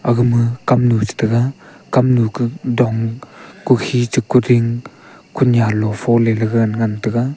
agama kamnu chetega kamnu kuh dong kukhi cheh kuding kunya lofo lega ngan taiga.